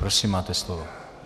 Prosím, máte slovo.